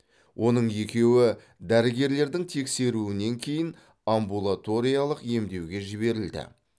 оның екеуі дәрігерлердің тексеруінен кейін амбулаториялық емдеуге жіберілді